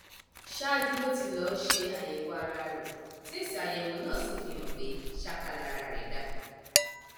ṣáájú ló ti lọọ ṣe àyẹwò ara rẹ tí èsìàyẹwò náà sì fi hàn pé ṣáká lara rẹ dá